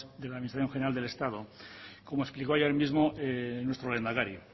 de la administración general del estado como explicó ayer mismo nuestro lehendakari